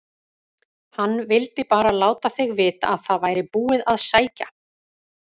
HANN VILDI BARA LÁTA ÞIG VITA AÐ ÞAÐ VÆRI BÚIÐ AÐ SÆKJA